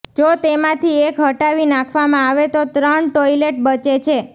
જો તેમાંથી એક હટાવી નાખવમાં આવે તો ત્રણ ટોયલેટ બચે છે